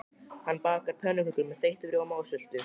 Hanna bakar pönnukökur með þeyttum rjóma og sultu.